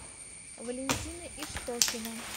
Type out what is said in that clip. валентина иштокина